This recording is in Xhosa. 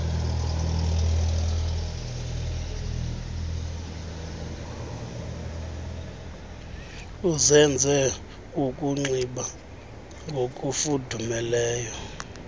uzenze ukunxiba ngokufudumeleyo